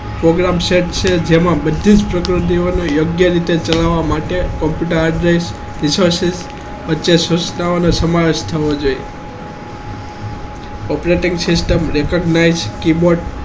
program set છે જેમાં બધી જ પ્રકૃતિઓને યોગ્ય રીતે ચલાવવા માટે સંસ્થાઓને સમાવેશ થવો જોઈએ operating system લેખક nice keyboard